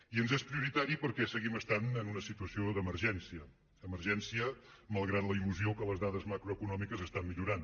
i ens és prioritari perquè seguim estant en una situació d’emergència emergència malgrat la il·lusió que les dades macroeconòmiques estan millorant